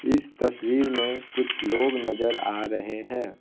इस तस्वीर में कुछ लोग नजर आ रहे है।